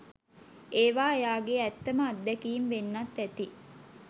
ඒවා එයාගේ ඇත්තම අද්දැකීම් වෙන්නත් ඇති.